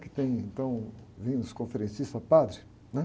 que tem, então, vindo os conferencistas padres, né?